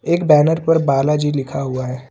एक बैनर पर बालाजी लिखा हुआ है।